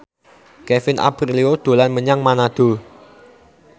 Kevin Aprilio dolan menyang Manado